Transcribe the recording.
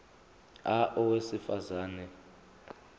a owesifaz ane